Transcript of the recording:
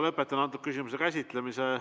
Lõpetan küsimuse käsitlemise.